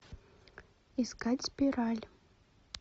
искать спираль